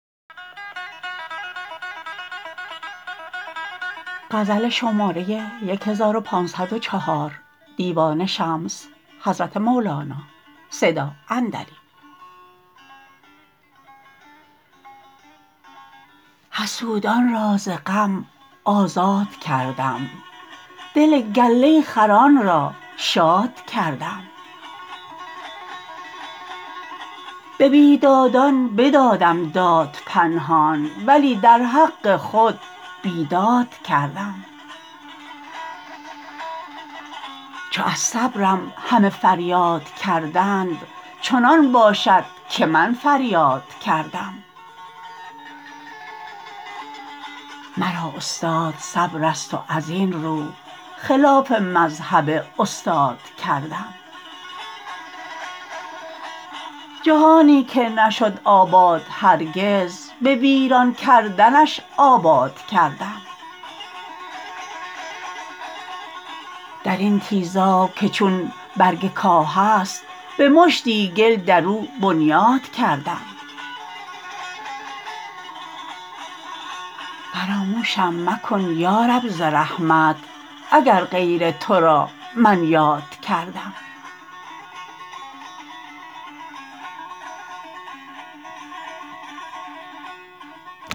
حسودان را ز غم آزاد کردم دل گله خران را شاد کردم به بیدادان بدادم داد پنهان ولی در حق خود بیداد کردم چو از صبرم همه فریاد کردند چنان باشد که من فریاد کردم مرا استاد صبر است و از این رو خلاف مذهب استاد کردم جهانی که نشد آباد هرگز به ویران کردنش آباد کردم در این تیزاب که چون برگ کاه است به مشتی گل در او بنیاد کردم فراموشم مکن یا رب ز رحمت اگر غیر تو را من یاد کردم